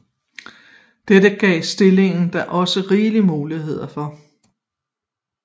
Dette gav stillingen da også rigelige muligheder for